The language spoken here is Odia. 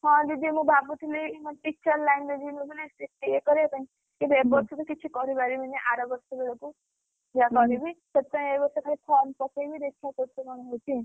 ହଁ ଦିଦି ମୁଁ ଭାବୁଥିଲି teacher line ରେ ଯିବି ବୋଲି ଇଏ କରିବା ପାଇଁ, କିନ୍ତୁ ଏଇବର୍ଷ ତ କିଛି କରିପାରିବିନି ଅରବର୍ଷକୁ ହବ। ଯାହା କରିବି ସେଇଥିପାଇଁ ଏଇବର୍ଷ ଖାଲି form ପକେଇବି ଦେଖିଆ କେତେ କଣ ହଉଛି ।